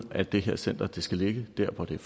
at det her center skal ligge der hvor det er